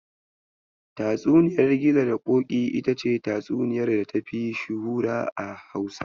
Tatsuniyar Gizo da Ƙoƙi ita ce tatsuniyar data fi shuhura a Hausa.